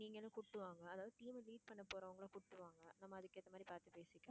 நீங்களும் கூப்பிட்டு வாங்க அதாவது team அ meet பண்ண போறவங்களை கூப்பிட்டு வாங்க நம்ம அதுக்கு ஏத்த மாதிரி பாத்து பேசிக்கலாம்.